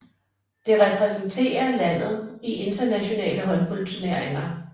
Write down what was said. Det repræsenterer landet i internationale håndboldturneringer